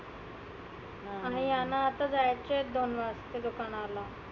आणि ह्यांना आता जायचं आहे दोन वाजता दुकानाला.